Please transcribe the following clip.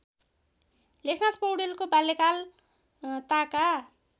लेखनाथ पौड्यालको बाल्यकालताका